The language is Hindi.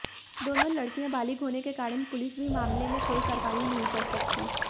दोनों लड़कियां बालिग होने के कारण पुलिस भी मामले में कोई कार्रवाई नहीं कर सकती